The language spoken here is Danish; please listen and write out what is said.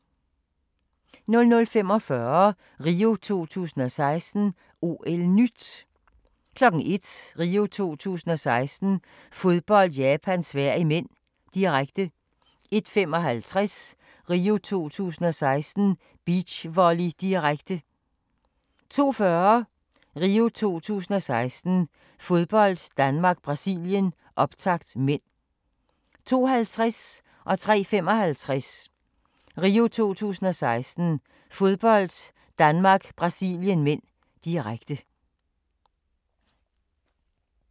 00:45: RIO 2016: OL-NYT 01:00: RIO 2016: Fodbold - Japan-Sverige (m), direkte 01:55: RIO 2016: Beachvolley, direkte 02:40: RIO 2016: Fodbold - Danmark-Brasilien, optakt (m) 02:50: RIO 2016: Fodbold - Danmark-Brasilien (m), direkte 03:55: RIO 2016: Fodbold - Danmark-Brasilien (m), direkte